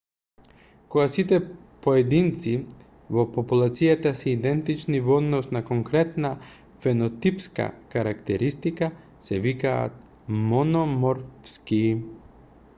кога сите поединци во популацијата се идентични во однос на конкретна фенотипска карактеристика се викаат мономорфски